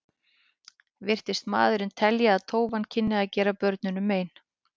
Virtist maðurinn telja að tófan kynni að gera börnunum mein.